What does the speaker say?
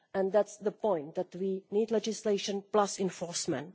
That's the point that we need legislation plus enforcement.